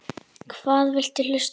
Hvað viltu hlusta á?